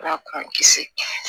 Ala k'an kisi